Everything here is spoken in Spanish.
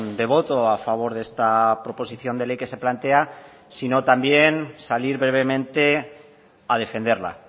de voto a favor de esta proposición de ley que se plantea sino también salir brevemente a defenderla